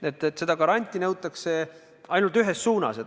Nii et seda garanti nõutakse ainult ühes suunas.